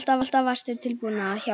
Alltaf varstu tilbúin að hjálpa.